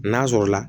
N'a sɔrɔla